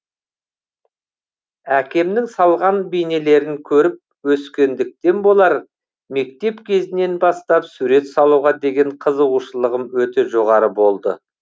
әкемнің салған бейнелерін көріп өскендіктен болар мектеп кезінен бастап сурет салуға деген қызығушылығым өте жоғары болды